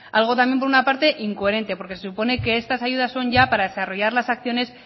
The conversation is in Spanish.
algo también por una parte incoherente porque supone que estas ayudas son ya para desarrollar las acciones